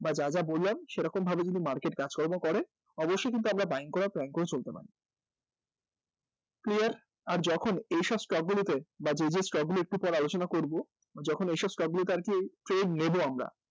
বা যা যা বললাম সেরকমভাবে যদি market কাজকর্ম করে অবশ্যই কিন্তু আমরা buying করার plan করে চলতে পারি clear? আর যখন এইসব stock গুলিতে বা যে যে stock গুলি একটু পর আলোচনা করব যখন এইসব stock গুলিতে আরকি trade নেব আমরা